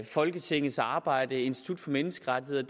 folketingets arbejde institut for menneskerettigheder